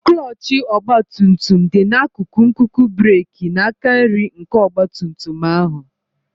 Klọọchị ọgba tum tum dị n'akụkụ nkuku breeki n'aka nri nke ọgba tum tum ahụ.